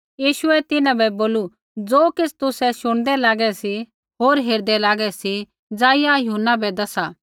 यीशुऐ तिन्हां बै बोलू ज़ो किछ़ तुसै शुणदै लागै सी होर हेरदै लागै सी ज़ाइआ यूहन्ना बै दसा